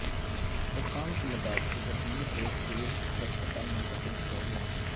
حکام کے مطابق زخمیوں کو سول ہسپتال منتقل کیا گیا ہے